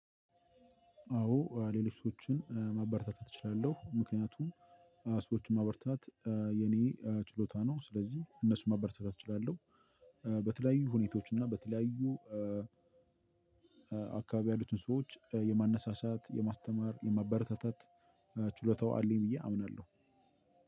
አዎ ሌሎች ሰዎችን ማበረታታት እችላለሁ ምክንያቱም ሰዎችን ማበረታታት የኔ ችሎታ ነው ስለዚህ እነሱን ማበረታታት እችላለሁ። በተለያዩ ሁኔታዎች እና በተለያዩ አከባቢ ያሉትን ሰዎች የማነሳሳት የማስተማር የመበረታታት ችሎታው አለኝ ብዬ አምናለሁ።